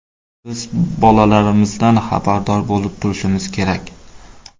Biz bolalarimizdan xabardor bo‘lib turishimiz kerak.